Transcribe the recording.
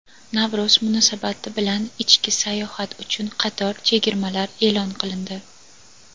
Navro‘z munosabati bilan ichki sayohat uchun qator chegirmalar e’lon qilindi.